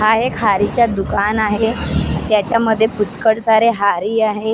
आहे खारीच्या दुकान आहे त्याच्यामध्ये पुष्कळ सारे हारी आहे.